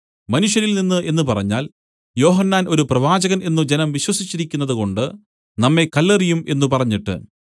മനുഷ്യരിൽനിന്ന് എന്നു പറഞ്ഞാൽ യോഹന്നാൻ ഒരു പ്രവാചകൻ എന്നു ജനം വിശ്വസിച്ചിരിക്കുന്നതുകൊണ്ട് നമ്മെ കല്ലെറിയും എന്നു പറഞ്ഞിട്ട്